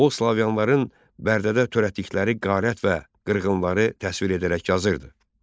O slavyanların Bərdədə törətdikləri qərarət və qırğınları təsvir edərək yazırdı.